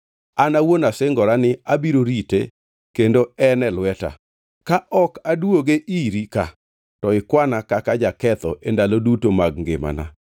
An awuon asingora ni abiro rite kendo en e lweta. Ka ok aduoge iri ka, to ikwana kaka jaketho e ndalo duto mag ngimana.